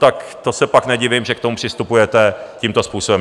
Tak to se pak nedivím, že k tomu přistupujete tímto způsobem!